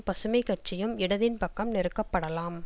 பசுமைக்கட்சியும் இடதின் பக்கம் நெருக்கப்படலாம்